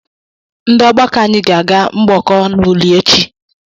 Ndị ọgbakọ anyị ga-aga mgbọkọ n'Uli echi.